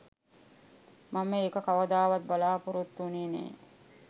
මම ඒක කවදාවත් බලාපොරොත්තු වුණේ නෑ.